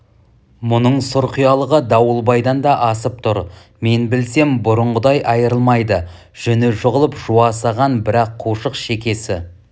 мұның сұрқиялығы дауылбайдан да асып тұр мен білсем бұрынғыдай айырламайды жүні жығылып жуасыған бірақ қушық шекесі